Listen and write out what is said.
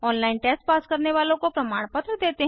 online test pass करने वालों को प्रमाणपत्र देते हैं